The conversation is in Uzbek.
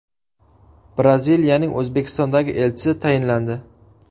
Braziliyaning O‘zbekistondagi elchisi tayinlandi.